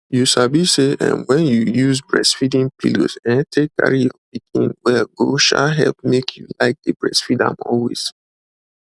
you sabi say um when you use breastfeeding pillows um take carry your pikin well go um help make you like dey breastfeed am always